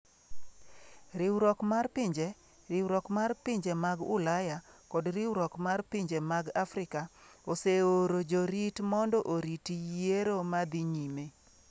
Riwruok mar Pinje, Riwruok mar Pinje mag Ulaya, kod Riwruok mar Pinje mag Afrika oseoro jorit mondo orit yiero ma dhi nyime.